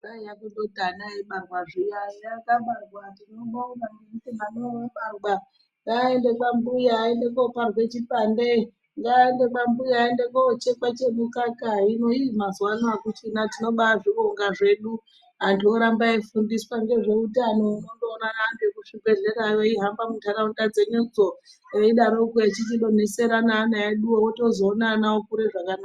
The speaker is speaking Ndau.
Kwaiya kundoti mwana eibarawa zviya ,eya wabarwa tinobonga ngekuti mwanawo wabarwa ,dai aende kwambuya aende koparwe chipande, ngaende kwambuya aende kochekwe chemukaka, hino ii mazuwa ano akuchina tinoba azvibonga zvedu antu oramba eiifundiswa ngezveutano unondoona anhu ekuzvibhehleya achihamba munharaunda dzedudzo eidaroko echidonhedzere ne ana eduwo ,unozootone ana eikure zvakanaka.